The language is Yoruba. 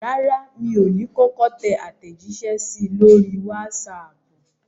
Rárá, mi ò ní kọ́kọ́ tẹ àtẹ̀jíṣẹ́ sí i lórí wásaàpù.